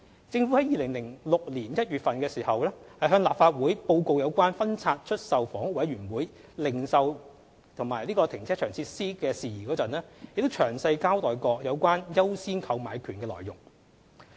政府於2006年1月向立法會報告有關分拆出售房屋委員會零售和停車場設施的事宜時，亦詳細交代過有關"優先購買權"的內容。